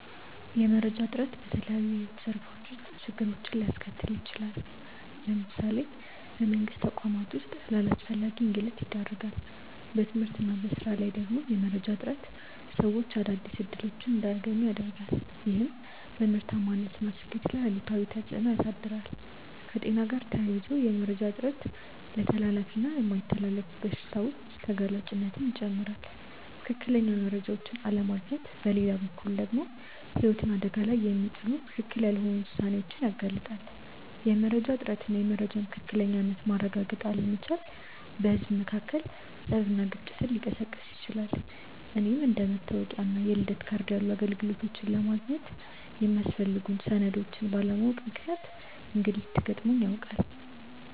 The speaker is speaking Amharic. የመረጃ እጥረት በተለያዩ የሕይወት ዘርፎች ውስጥ ችግሮችን ሊያስከትል ይችላል። ለምሳሌ በመንግስት ተቋማት ውስጥ ለአላስፈላጊ እንግልት ይዳርጋል። በትምህርት እና በሥራ ላይ ደግሞ የመረጃ እጥረት ሰዎች አዳዲስ እድሎች እንዳያገኙ ያረጋል፤ ይህም በምርታማነት እና ስኬት ላይ አሉታዊ ተፅእኖ ያሳድራል። ከጤና ጋር ተያይዞ የመረጃ እጥረት ለተላላፊ እና የማይተላለፉ በሽታዎች ተጋላጭነትን ይጨምራል። ትክክለኛ መረጃዎችን አለማግኘት በሌላ በኩል ደግሞ ህይወትን አደጋ ላይ የሚጥሉ ትክክል ያልሆኑ ውሳኔዎችን ያጋልጣል። የመረጃ እጥረት እና የመረጃን ትክክለኝነት ማረጋገጥ አለመቻል በህዝብ መካከል ፀብና ግጭትን ሊቀሰቅስ ይችላል። እኔም አንደ መታወቂያ እና የልደት ካርድ ያሉ አገልግሎቶችን ለማግኘት የሚያስፈልጉ ሰነዶችን ባለማወቅ ምክንያት እንግልት ገጥሞኝ ያውቃል።